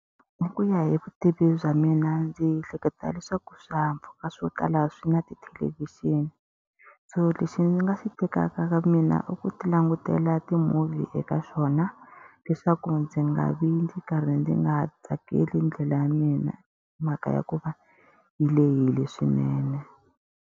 Hi ku ya hi vutivi bya mina ndzi ehleketa leswaku swihahampfhuka swo tala swi na tithelevhixini. So lexi ndzi nga xi tekaka ka mina i ku ti langutela na ti-movie eka swona, leswaku ndzi nga vi ndzi karhi ndzi nga tsakeli ndlela ya mina hi mhaka ya ku va yi lehile swinene.